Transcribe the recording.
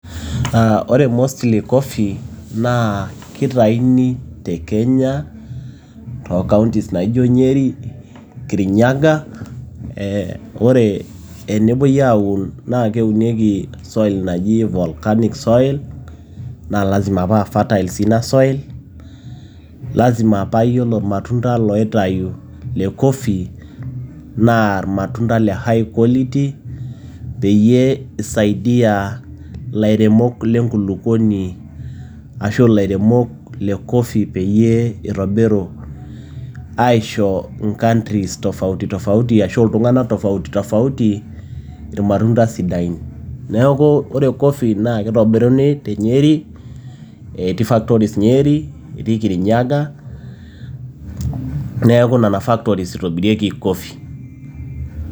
Ore mostly coffee naa keitayuni tekaunties naijo Nyeri, Kirinyaga, ore tenepuoi aun naa keunieki soil naji volcanic soil naa lazima paa fertile sii ina soil, lazima paa iyiolo ilmatunda looitayu, lecoffee naa ilmatunda le high quality, peyie eisaidia ilairemok le coffee peyie eitobiru aisho countries ashu iltung'anak tofauti tofauti ilmatunda sidain, neaku ore coffe naa keitobiruni te Nyeri etii factories nyeri, etii Kirinyaga neaku nena factories eitobirieki coffee.